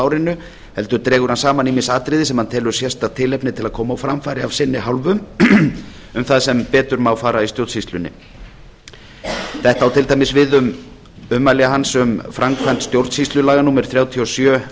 árinu heldur dregur hann saman ýmis atriði sem hann telur sérstakt tilefni til að koma á framfæri af sinni hálfu um það sem betur má fara í stjórnsýslunni þetta á til dæmis við um ummæli hans um framkvæmd stjórnsýslulaga númer þrjátíu og sjö